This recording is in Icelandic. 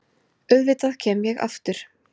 Auðvitað kem ég aftur.